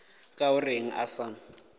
ka o reng a sa